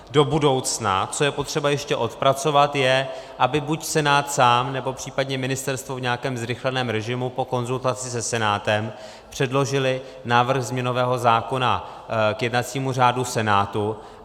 Do budoucna, co je potřeba ještě odpracovat, je, aby buď Senát sám, nebo případně ministerstvo v nějakém zrychleném režimu po konzultaci se Senátem předložilo návrh změnového zákona k jednacímu řádu Senátu.